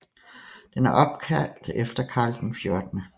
Den er opkaldt efter Karl 14